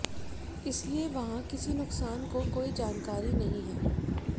इसलिए वहां किसी नुकसान को कोई जानकारी नहीं है